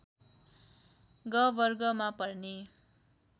ग वर्ग मा पर्ने